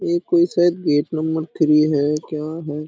ये कोई शायद गेट नंबर थ्री है क्या है।